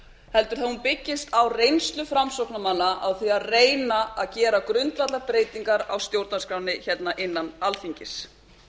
heldur að hún byggist á reynslu framsóknarmanna á því að reyna að gera grundvallarbreytingar á stjórnarskránni hérna innan alþingis